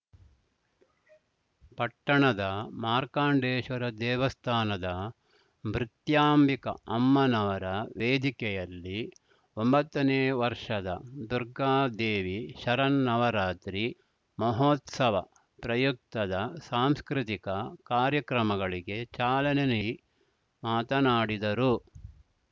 ಪಟ್ಟಣದ ಮಾರ್ಕಾಂಡೇಶ್ವರ ದೇವಸ್ಥಾನದ ಮೃತ್ಯಂಬಿಕಾ ಅಮ್ಮನವರ ವೇದಿಕೆಯಲ್ಲಿ ಒಂಬತ್ತನೇ ವರ್ಷದ ದುರ್ಗಾದೇವಿ ಶರನ್ನವರಾತ್ರಿ ಮಹೋತ್ಸವ ಪ್ರಯುಕ್ತದ ಸಾಂಸ್ಕೃತಿಕ ಕಾರ್ಯಕ್ರಮಗಳಿಗೆ ಚಾಲನೆ ನೀಡಿ ಮಾತನಾಡಿದರು